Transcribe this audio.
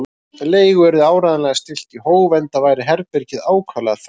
Leigu yrði áreiðanlega stillt í hóf, enda væri herbergið ákaflega þröngt.